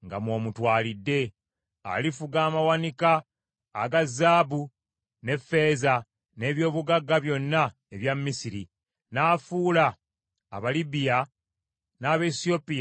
Alifuga amawanika aga zaabu ne ffeeza, n’eby’obugagga byonna ebya Misiri, n’afuula Abalibiya n’Abaesiyopiya okuba abaddu be.